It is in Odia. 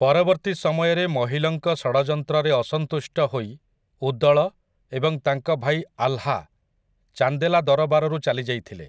ପରବର୍ତ୍ତୀ ସମୟରେ ମହୀଲଙ୍କ ଷଡ଼ଯନ୍ତ୍ରରେ ଅସନ୍ତୁଷ୍ଟ ହୋଇ ଉଦଳ ଏବଂ ତାଙ୍କ ଭାଇ ଆଲ୍ହା ଚାନ୍ଦେଲା ଦରବାରରୁ ଚାଲିଯାଇଥିଲେ ।